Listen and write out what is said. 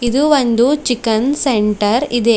ಇದು ಒಂದು chicken centre ಇದೆ.